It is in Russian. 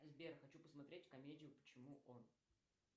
сбер хочу посмотреть комедию почему он